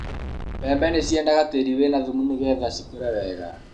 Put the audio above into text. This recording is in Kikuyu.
mbembe nī ciedaga tīrī wīna thumu nīgetha cikūre wega